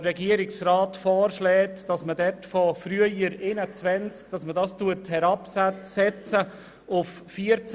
Der Regierungsrat schlägt vor, dass der Arrest von früher 21 auf neu 14 Tage heruntergesetzt wird.